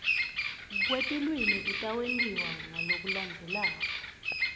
kwetilwimi kutawentiwa ngalokulandzelako